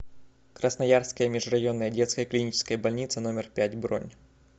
красноярская межрайонная детская клиническая больница номер пять бронь